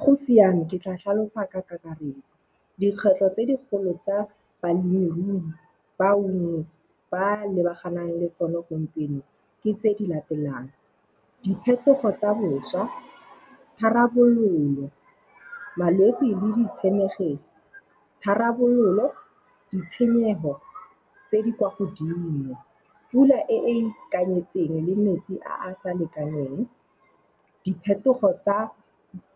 Go siame, ke tla tlhalosa ka kakaretso. Dikgwetlho tse di kgolo tsa balemirui bangwe ba lebaganeng le tsone gompieno, ke tse di latelang. Diphetogo tsa boswa, tharabololo, malwetsi le di tshenyegelo, tharabololo, ditshenyego tse di kwa godimo, pula e e ikanyetseng le metsi a a sa lekaneng, diphetogo tsa